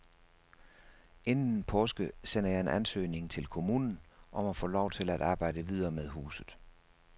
Inden påske sender jeg en ansøgning til kommunen om at få lov til at arbejde videre med huset.